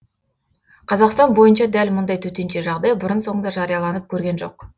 қазақстан бойынша дәл мұндай төтенше жағдай бұрын соңды жарияланып көрген жоқ